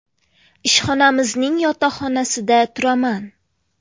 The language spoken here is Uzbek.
Ishxonamizning yotoqxonasida turaman.